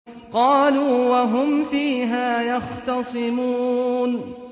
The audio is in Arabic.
قَالُوا وَهُمْ فِيهَا يَخْتَصِمُونَ